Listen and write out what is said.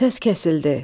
Səs kəsildi.